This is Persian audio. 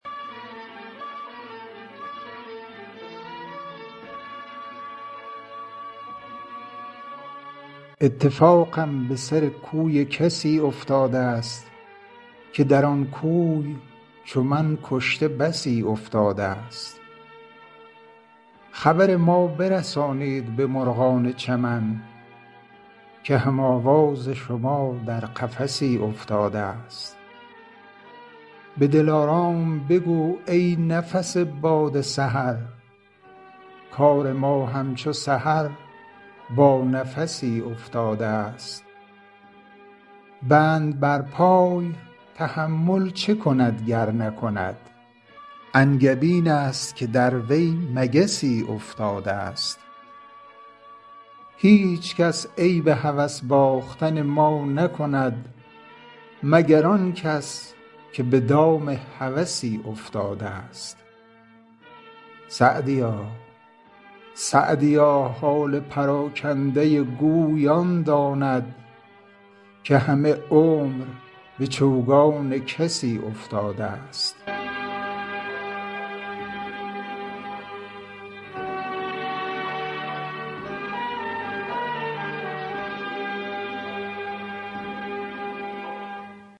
اتفاقم به سر کوی کسی افتاده ست که در آن کوی چو من کشته بسی افتاده ست خبر ما برسانید به مرغان چمن که هم آواز شما در قفسی افتاده ست به دلارام بگو ای نفس باد سحر کار ما همچو سحر با نفسی افتاده ست بند بر پای تحمل چه کند گر نکند انگبین است که در وی مگسی افتاده ست هیچکس عیب هوس باختن ما نکند مگر آن کس که به دام هوسی افتاده ست سعدیا حال پراکنده گوی آن داند که همه عمر به چوگان کسی افتاده ست